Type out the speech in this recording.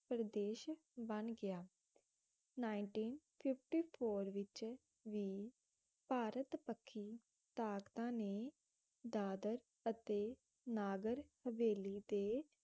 ਪ੍ਰਦੇਸ਼ ਬਣ ਗਿਆ ninteen fifty four ਵਿਚ ਵੀ ਭਾਰਤ ਪੱਖੀ ਤਾਕਤਾਂ ਨੇ ਦਾਦਰ ਅਤੇ ਨਾਗਰ ਹਵੇਲੀ ਦੇ